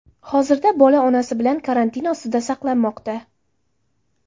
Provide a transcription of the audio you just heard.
Hozirda bola onasi bilan karantin ostida saqlanmoqda.